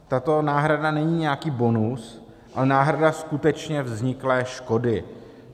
Tato náhrada není nějaký bonus, ale náhrada skutečně vzniklé škody.